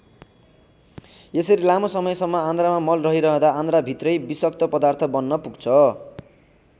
यसरी लामो समयसम्म आन्द्रामा मल रहिरहँदा आन्द्राभित्रै विषक्त पदार्थ बन्न पुग्छ।